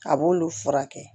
A b'olu furakɛ